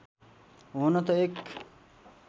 हुन त एक